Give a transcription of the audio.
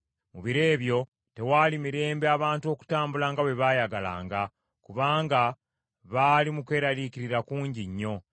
Mu biro ebyo tewaali mirembe abantu okutambula nga bwe baayagalanga, kubanga baali mu kweraliikirira kungi nnyo.